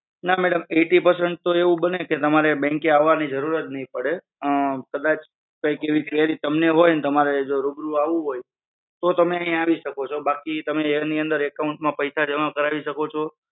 હા madam eighty percent તો એવું બને કે તમારે bank એ આવવાની જરૂર જ નહીં પડે. અમ કદાચ કઈક એવી query તમને હોય અને તમારે રૂબરૂ આવવું હોય, તો તમે અહિયાં આવી શકો છો. બાકી તમે એની અંદર account માં પૈસા જમા કરાવી શકો છો.